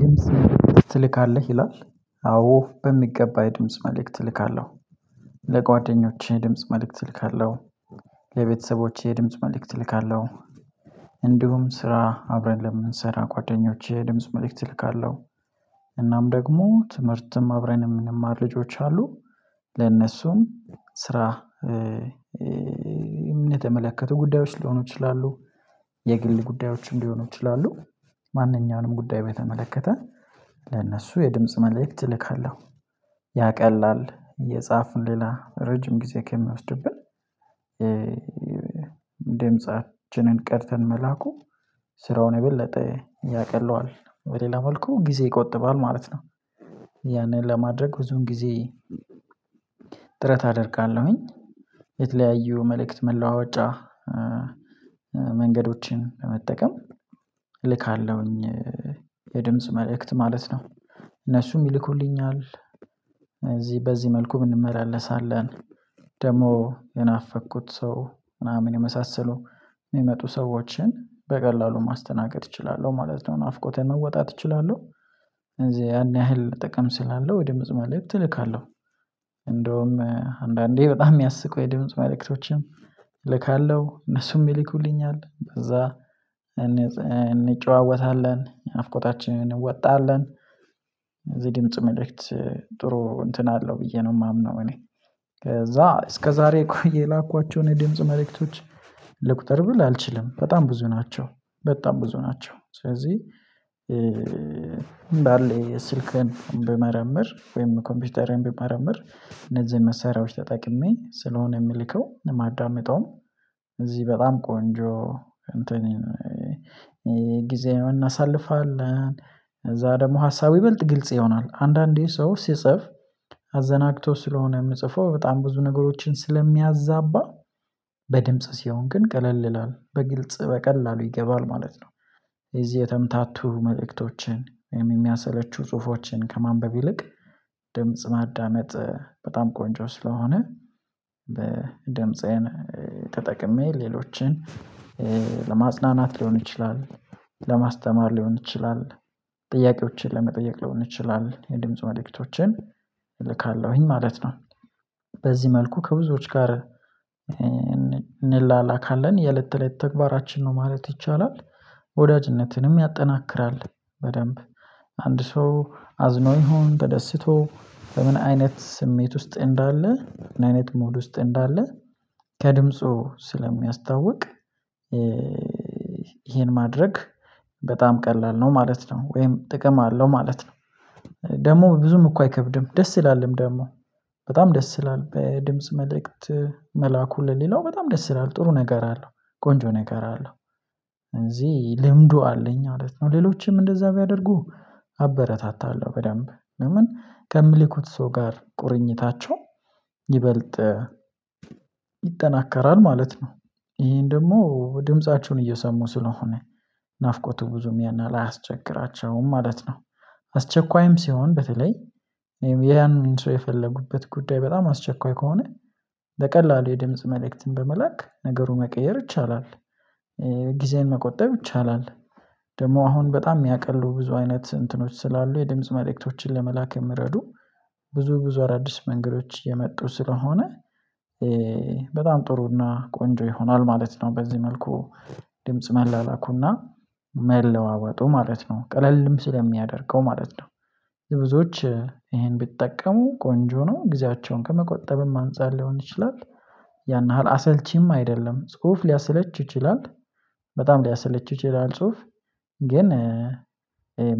ድምጽ መልእክት ትልካለህ ይላል? አዎ በሚገባ የድምጽ መልእክት እልካለሁ። ለጓደኞቼ ድምጽ መልእክት እልካለሁ። ለቤተሰቦቼ ድምጽ መልእክት እልካለሁ። እንዲሁም ስራ አብረን ለምንሰራ ጓደኞቼ ድምጽ መልእክት እልካለሁ። እናም ደግሞ ትምህርትም አብረንም ምንማር ልጆች አሉ ለነሱም ስራ የተመለከቱ ጉዳዮች ሊሆኑ ይችላሉ። የግል ጉዳዮችም ሊሆኑ ይችላሉ። ማንኛውንም ጉዳይ በተመለከተ ለነሱ የድምጽ መልእክት እልካለሁ። ያ ቀላል የጻፉን ሌላ ረጅም ጊዜ ከሚወስድብን ደምጻችንን ቀድተን መላኩ ስራውን የበለጠ ያቀለዋል በሌላ መልኩ ጊዜ ይቆጥባል ማለት ነው። ለማድረግ ብዙዉን ጊዜ ጥረት አደርጋለሁኝ። የተለያዩ መልእክት መለዋወጫ መንገዶችን በመጠቀም እልካለሁኝ። የድምጽ መልእክት ማለት ነው። እነሱም ይልኩልኛል እዚህ በዚህ መልኩ ብንመላለሳለን። ደግሞ የናፈቅኩት ሰው ምናምን የመሳሰሉ የሚመጡ ሰዎችን በቀላሉ ማስተናገድ እችላለሁ ማለት ነው ናፍቆቴን መወጣት እችላለሁ። እንደዚህ ያን ያህል ጥቅም ስላለው ወደ የድምጽ መልእክት እልካለሁ። እንደውም አንዳንዴ በጣም የሚያስቁ የድምጽ መልእክቶችን ልካለሁ እነሱም ይልኩልኛል አለ ከዛ እንጨዋወታለን ናፍቆታችንን እንወጣለን። እዚህ ድምጽ መልእክት ጥሩ እንትን አለው ብዬ ነው የማምነው እኔ። ከዛ እስከዛሬ ቆይ የላኳቸውን የድምጽ መልእክቶች ልቁጠር ብል አልችልም በጣም ብዙ ናቸው። በጣም ብዙ ናቸው ስለዚህ እንዳለ ስልክን ብመረምር ወይም ኮምፒውተሬን ብመረምር እነዚህን መሳሪያዎች ተጠቅሜ ስለሆነ የምልከው ማዳመጣውም። እዚህ በጣም ቆንጆ እንትን የጊዜውን እናሳልፋለን። እዛ ደግሞ ሀሳብ ይበልጥ ግልጽ ይሆናል አንዳንዴ ሰው ሲጽፍ አዘናግቶ ስለሆነ የምጽፈው በጣም ብዙ ነገሮችን ስለሚያዛባ በድምጽ ሲሆን ግን ቀለል ይላል በግልጽ በቀላሉ ይገባል ማለት ነው። እዚህ የተምታቱ መልእክቶችን የሚያሰለቹ ጽሁፎችን ከማንበብ ይልቅ ድምጽ ማዳመጥ በጣም ቆንጆ ስለሆነ በድምጽህን ተጠቅሜ ሌሎችን ለማጽናናት ሊሆን ይችላል። ለማስተማር ሊሆን ይችላል። ጥያቄዎችን ለመጠየቅ ሊሆን ይችላል የድምጽ መልእክቶችን እልካለሁኝ ማለት ነው። በዚህ መልኩ ከብዙዎች ጋር እንላላካለን የለት ተለት ተግባራችን ነው ማለት ይቻላል። ወዳጅነትንም ያጠናክራል በደንብ አንድ ሰው አዝኖ ይሁን ተደስቶ በምን አይነት ስሜት ውስጥ እንዳለ ምን አይነት ሙድ ውስጥ እንዳለ ከድምፁ ስለሚያስታውቅ። ይሄን ማድረግ በጣም ቀላል ነው ማለት ነው ወይም ጥቅም አለው ማለት ነው። ደግሞ ብዙም እኮ አይከብድም ደስ ይላልም ደግሞ በጣም ደስ ይላል በድምጽ መልእክት መላኩ ለሌላው በጣም ደስ ይላል ጥሩ ነገር አለው። ቆንጆ ነገር አለው። ልምዱ አለኝ ማለት ነው ሌሎችም እንደዛ ቢያደርጉ አበረታታለሁ በደንብ ለምን ከምልኩት ሰው ጋር ቁርኝታቸው ይበልጥ ይጠናከራል ማለት ነው። ይሄን ደግሞ ድምፃቸውን እየሰሙ ስለሆነ ናፍቆቱ ብዙም ያን ያሀል አያስቸግራቸውም ማለት ነው። አስቸኳይም ሲሆን በተለይ ያን ሰው የፈለጉበት ጉዳይ በጣም አስቸኳይ ከሆነ በቀላሉ የድምጽ መልእክትን በመላክ ነገሩን መቀየር ይቻላል። ጊዜዬን መቆጠብ ይቻላል። ደግሞ አሁን በጣም የሚያቀሉ ብዙ አይነት እንትኖች ስላሉ የድምጽ መልእክቶችን ለመላክ የምረዱ ብዙ ብዙ አዳዲስ መንገዶች የመጡ ስለሆነ በጣም ጥሩና ቆንጆ ይሆናል ማለት ነው። በዚህ መልኩ ድምጽ መላላኩና መለዋወጡ ማለት ነው ቀለልም ስለሚያደርገው ማለት ነው። ብዙዎች ይሄን ቢጠቀሙ ቆንጆ ነው ጊዜያቸውን ከመቆጠብም አንፃር ሊሆን ይችላል። ያን ያህል አሰልቺም አይደለም ጽሁፍ ሊያሰለች ይችላል። በጣም ሊያሰለች ይችላል ጽሁፍ ግን